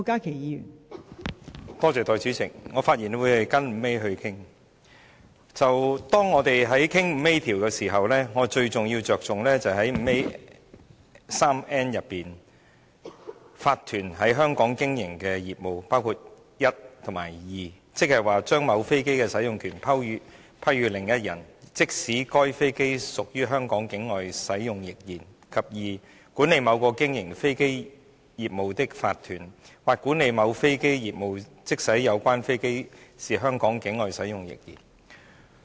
當我們討論到第 5A 條時，最重要的就是第53條中，建議加入第 151n 條，說明有關法團在香港經營的業務，包括第 i 及節，即是 "i 將某飛機的使用權批予另一人......，即使該飛機是於香港境外使用亦然；或管理某個經營飛機業務的法團，或管理某飛機業務，即使有關飛機是於香港境外使用亦然。